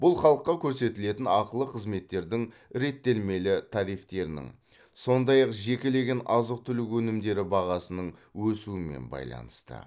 бұл халыққа көрсетілетін ақылы қызметтердің реттелмелі тарифтерінің сондай ақ жекелеген азық түлік өнімдері бағасының өсуімен байланысты